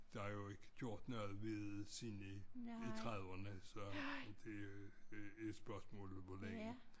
Der er jo ikke gjort noget ved siden i trediverne så det er et spørgsmål hvor længe